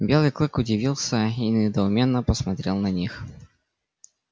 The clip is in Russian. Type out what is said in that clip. белый клык удивился и недоуменно посмотрел на них